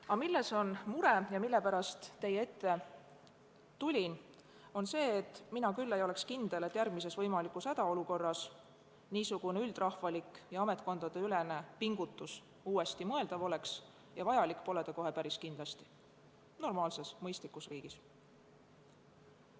Aga milles on mure ja mille pärast teie ette tulin, on see, et mina küll ei ole kindel, et järgmises võimalikus hädaolukorras niisugune üldrahvalik ja ametkondadeülene pingutus uuesti mõeldav oleks, ja vajalik pole see kohe päris kindlasti mitte – normaalses mõistlikus riigis.